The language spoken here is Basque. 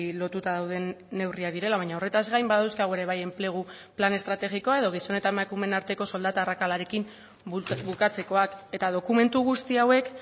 lotuta dauden neurriak direla baina horretaz gain badauzkagu ere bai enplegu plan estrategikoa edo gizon eta emakumeen arteko soldata arrakalarekin bukatzekoak eta dokumentu guzti hauek